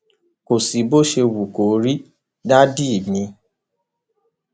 kò sí bó ṣe wù kó rí dádì mi